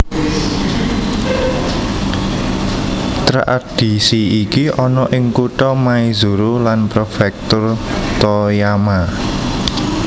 Tradhisi iki ana ing kutha Maizuru lan prefektur Toyama